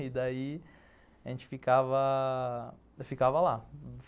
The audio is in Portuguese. E daí a gente ficava... ficava lá.